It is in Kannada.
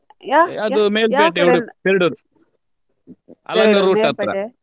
ಅದು Melpete Udu~ Perdur Alangar route ಹತ್ರ.